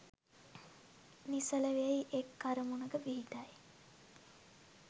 නිසල වෙයි, එක් අරමුණක පිහිටයි